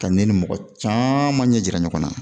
Ka ne ni mɔgɔ caman ɲɛ jira ɲɔgɔn na